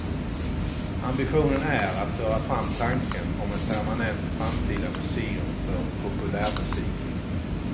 Ambitionen är att föra fram tanken om ett permanent framtida museum för populärmusiken.